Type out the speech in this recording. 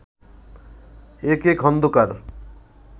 A K Khandakar